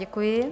Děkuji.